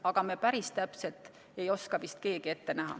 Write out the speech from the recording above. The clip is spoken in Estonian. Aga me päris täpselt ei oska vist keegi ette näha.